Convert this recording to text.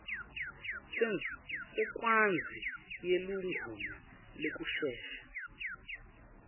sencwadzi yeligunya lekusesha